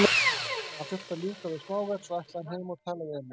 Hann þurfti að ljúka við smáverk, svo ætlaði hann heim og tala við Emil.